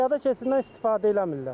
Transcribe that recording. Piyada keçidindən istifadə eləmirlər.